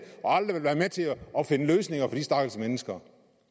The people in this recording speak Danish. og aldrig vil være med til at finde løsninger for de stakkels mennesker